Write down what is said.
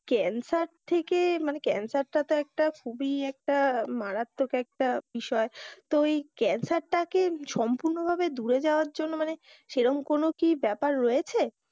Cancer থেকে মানে ক্যান্সারটা তো একটা খুবই একটা মারাত্মক একটা বিষয় তো ওই ক্যান্সারটাকে সম্পূর্ণ ধুয়ে যাওয়ার জন্য মানে সেই রকম কোনো কি ব্যাপার রয়েছে?